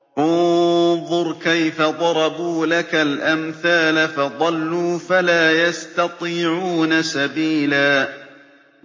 انظُرْ كَيْفَ ضَرَبُوا لَكَ الْأَمْثَالَ فَضَلُّوا فَلَا يَسْتَطِيعُونَ سَبِيلًا